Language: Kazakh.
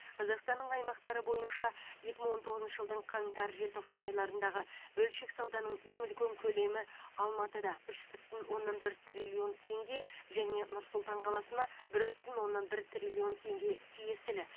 қазақстанның аймақтары бойынша екі мың он тоғызыншы жылдың қаңтар желтоқсан айларындағы бөлшек сауданың ең үлкен көлемі алматы үш бүтін оннан бір триллион теңге және нұр сұлтан қаласына бір бүтін оннан бір триллион теңге тиесілі